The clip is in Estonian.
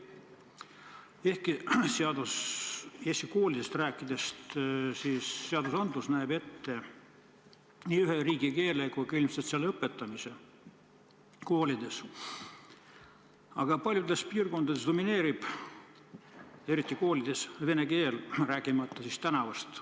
Ehkki seadus näeb ette nii ühe riigikeele kui ilmselt ka selle õpetamise koolides, domineerib paljudes piirkondades koolides vene keel, rääkimata tänavast.